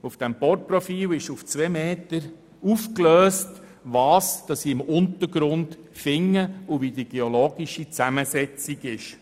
Dieses Bohrprofil zeigt aufgelöst auf zwei Meter, was im Untergrund zu finden und wie die geologische Zusammensetzung ist.